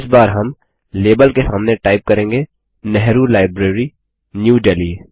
इस बार हम लाबेल के सामने टाइप करेंगे नेहरू लाइब्रेरी न्यू देल्ही